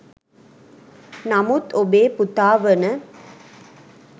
නමුත් ඔබේ පුතා වන